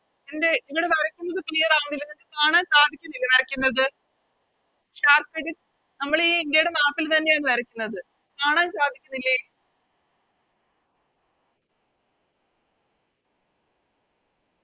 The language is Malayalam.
എന്ത് ഇവിടെ വരക്കുന്നത് Claer ആവുന്നില്ല നിങ്ങക്ക് കാണാൻ സാധിക്കുന്നില്ലെ വരക്കുന്നത് നമ്മളീ ഇന്ത്യയെടെ Map ൽ തന്നെയാണ് വരക്കുന്നത് കാണാൻ സാധിക്കുന്നില്ലെ